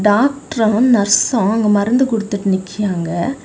Doctor nurse அங்கெ மருந்து கொடுத்துட்டு நிக்கிறாங்க.